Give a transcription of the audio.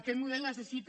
aquest model necessita